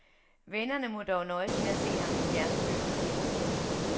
Vennerne må dog nøjes med at se ham i fjernsynet.